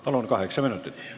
Palun, kaheksa minutit!